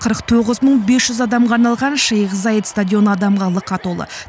қырық тоғыз мың бес жүз адамға арналған шейх заид стадионы адамға лықа толы